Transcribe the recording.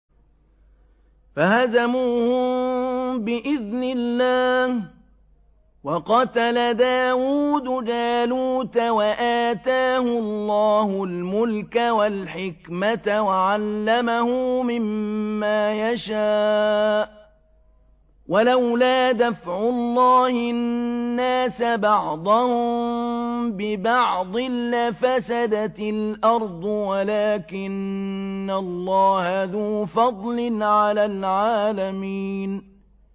فَهَزَمُوهُم بِإِذْنِ اللَّهِ وَقَتَلَ دَاوُودُ جَالُوتَ وَآتَاهُ اللَّهُ الْمُلْكَ وَالْحِكْمَةَ وَعَلَّمَهُ مِمَّا يَشَاءُ ۗ وَلَوْلَا دَفْعُ اللَّهِ النَّاسَ بَعْضَهُم بِبَعْضٍ لَّفَسَدَتِ الْأَرْضُ وَلَٰكِنَّ اللَّهَ ذُو فَضْلٍ عَلَى الْعَالَمِينَ